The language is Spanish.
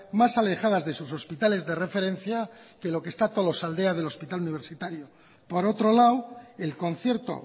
más alejadas de sus hospitales de referencia que lo que está tolosaldea del hospital universitario por otro lado el concierto